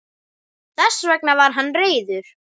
Þess vegna var hann reiður.